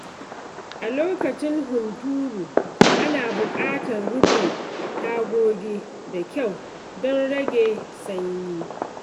A lokacin hunturu, ana buƙatar rufe tagogi da kyau don rage sanyi.